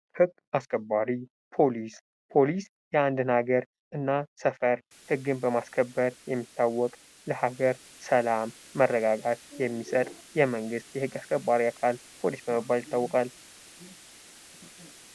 ህግ አስከባሪ ህግ አስከባሪ ፖሊስ የአንድን ሀገር እና ሰፈር ህግን በማስከበር የሚታወቅ ለሀገር ሰላም መረጋጋት የሚሰጥ የመንግስት የህግ አስከባሪ አካል ፖሊስ በመባል ይታወቃል።